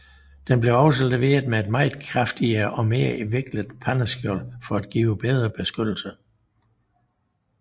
Den blev også leveret med et meget kraftigere og mere vinklet panserskjold for at give bedre beskyttelse